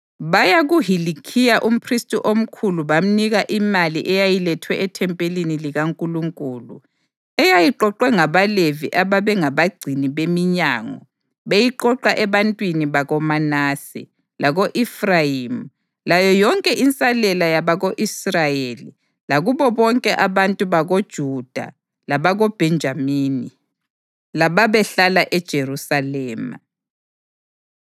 Baya kuHilikhiya umphristi omkhulu bamnika imali eyayilethwe ethempelini likaNkulunkulu, eyayiqoqwe ngabaLevi ababengabagcini beminyango beyiqoqa ebantwini bakoManase, lako-Efrayimi layo yonke insalela yabako-Israyeli lakubo bonke abantu bakoJuda labakoBhenjamini lababehlala eJerusalema.